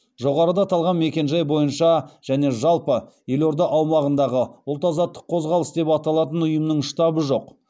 жоғарыда аталған мекенжай бойынша және жалпы елорда аумағында ұлт азаттық қозғалыс деп аталатын ұйымның штабы жоқ